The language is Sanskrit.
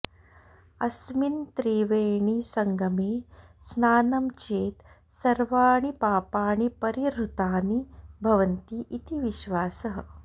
अस्मिन् त्रिवेणीसङ्गमे स्नातं चेत् सर्वाणि पापाणि परिहृतानि भवन्ति इति विश्वासः